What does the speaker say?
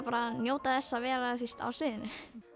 bara að njóta þess að vera á sviðinu